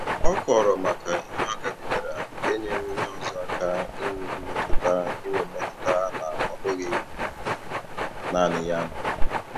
Ọ kọọrọ maka ihe ọ gabigara nke nyere onye ọzọ aka inwe metụta inwe metụta na ọ bụghị naanị ya nọ